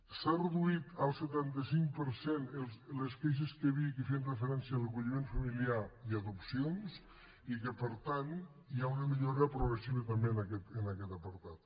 s’han reduït al setanta cinc per cent les queixes que hi havia que feien referència a l’acolliment familiar i a adopcions i que per tant hi ha una millora progressiva també en aquest apartat